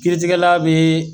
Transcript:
Kiritigɛla be